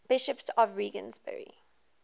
bishops of regensburg